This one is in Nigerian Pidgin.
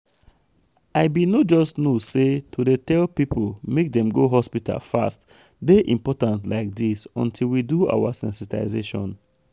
i bin no just know say to dey tell people make dem go hospital fast dey important like this until we do our sensitization.